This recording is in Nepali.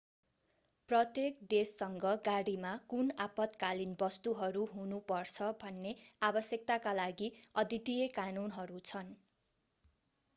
प्रत्येक देशसँग गाडीमा कुन आपतकालीन वस्तुहरू हुनुपर्छ भन्ने आवश्यकताका लागि अद्वितीय कानुनहरू छन्